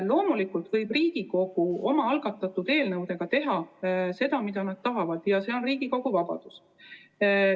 Loomulikult võib Riigikogu oma algatatud eelnõudega teha seda, mida tahab, see on Riigikogu vabadus.